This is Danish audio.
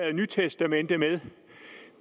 det nye testamente med